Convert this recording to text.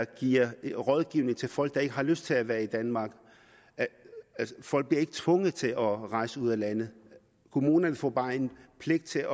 giver rådgivning til folk der ikke har lyst til at være i danmark folk bliver ikke tvunget til at rejse ud af landet kommunerne får bare en pligt til